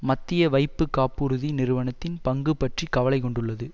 மத்திய வைப்பு காப்புறுதி நிறுவனத்தின் பங்கு பற்றி கவலை கொண்டுள்ளது